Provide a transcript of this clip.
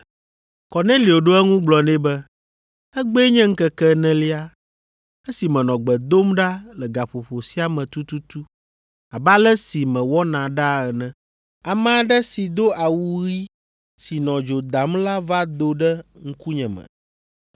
Kornelio ɖo eŋu gblɔ nɛ be, “Egbee nye ŋkeke enelia, esi menɔ gbe dom ɖa le gaƒoƒo sia me tututu abe ale si mewɔna ɖaa ene. Ame aɖe si do awu ɣi si nɔ dzo dam la va do ɖe ŋkunyeme.